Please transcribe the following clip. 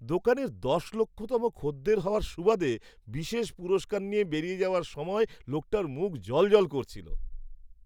দোকানের দশ লক্ষতম খদ্দের হওয়ার সুবাদে বিশেষ পুরস্কার নিয়ে বেরিয়ে যাওয়ার সময় লোকটার মুখ জ্বলজ্বল করছিল।